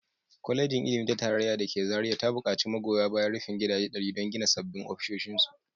Kwalejin Ilimi ta Tarayya da ke Zariya ta bukaci magoya bayan rufin gidaje ɗari don gina sabbin ofisoshinsu